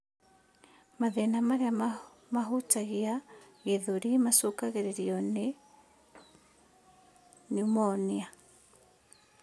Mathĩna marĩa mahutagia gĩthũri macũngagĩrĩrio nĩ neumonia